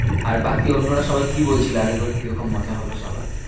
আর বাকি অন্যরা সবাই কি বলছিল? আগের বার কি রকম মজা হলো সবার?